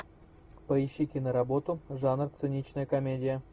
поищи киноработу жанр циничная комедия